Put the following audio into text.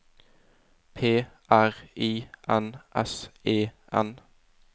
P R I N S E N